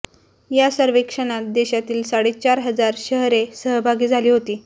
या सर्वेक्षणात देशातील साडेचार हजार शहरे सहभागी झाली होती